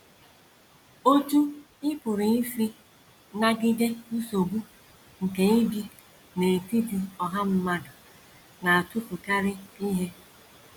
Otú Ị Pụrụ Isi Nagide Nsogbu nke Ibi n’Etiti Ọha Mmadụ Na - atụfukarị Ihe